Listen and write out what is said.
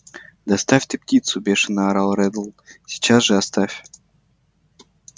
да оставь ты птицу бешено орал реддл сейчас же оставь